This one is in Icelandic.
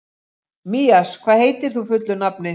Mías, hvað heitir þú fullu nafni?